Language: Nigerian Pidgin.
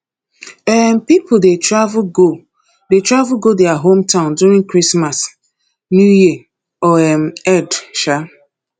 um pipo de travel go de travel go their home town during christmas new year or um eid um